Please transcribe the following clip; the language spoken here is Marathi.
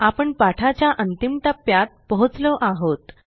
आपण पाठाच्या अंतिम टप्प्यात पोहोचलो आहोत